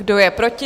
Kdo je proti?